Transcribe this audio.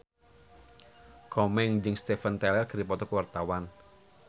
Komeng jeung Steven Tyler keur dipoto ku wartawan